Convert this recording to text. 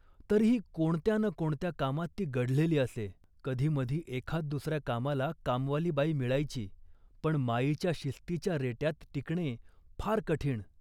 तरीही कोणत्या ना कोणत्या कामात ती गढलेली असे. कधीमधी एखाददुसऱ्या कामाला कामवाली बाई मिळायची, पण माईच्या शिस्तीच्या रेट्यात टिकणे फार कठीण